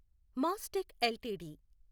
Mastek LTD